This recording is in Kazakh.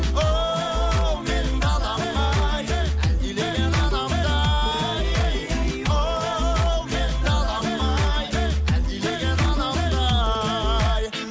оу менің далам ай әлдилеген анамдай оу менің далам ай әлдилеген анамдай